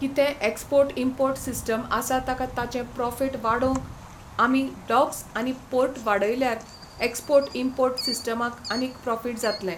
कितें export import system आसा ताका ताचें प्रोफीट वाडोवंक आमी डॉक्स आनी पोर्ट वाडयल्यार एक्सपोर्ट इम्पोर्ट सिस्टमाक आनीक प्रोफीट जातलें.